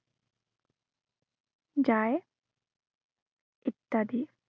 যায় ইত্য়াদি।